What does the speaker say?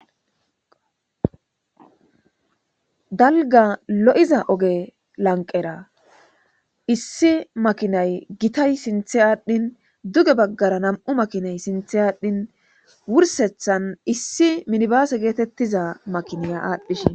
Dalga lo7iza oge lanqera issi makinay gitay sinthe aadhdhin duge baggara nam7u makinay sinthe aadhdhin wursethan issi minibaase geetettiza makiniya aadhdhishin.